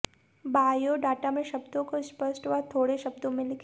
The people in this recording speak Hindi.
बायोडाटा में शब्दो को स्पष्ट व थोडे शब्दो में लिखे